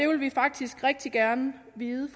vil vi faktisk rigtig gerne vide